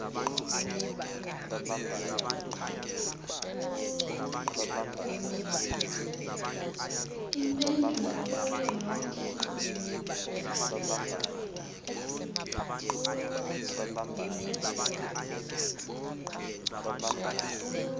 iimpendulo kuyo yonke